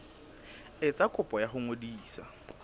etsa kopo ya ho ngodisa